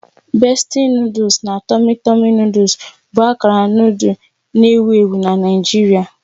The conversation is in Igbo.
Bestie noodles na Tummy tummy noodles bụ akara noodle na-ewu ewu na Nigeria